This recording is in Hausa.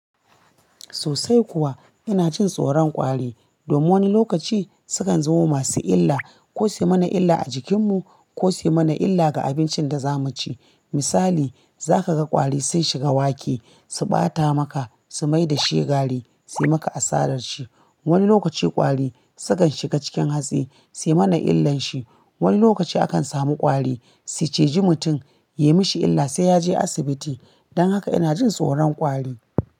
Sosai kuwa, ina jin tsoron ƙwari. Domin wani lokaci su kan zamo masu illa, ko suyi mana illa a jikin mu ko suyi mana illa ga abincin da za mu ci. Misali, za ka ga ƙwari sun shiga wake, su ɓata maka, su maida shi gari, suyi maka asarar shi. Wani lokaci ƙwari sukan shiga cikin hatsi suyi mana illan shi. Wani lokaci akan samu ƙwari su cije mutum, yi mashi illa sai ya je asibiti. Don haka ina jin tsoron ƙwari.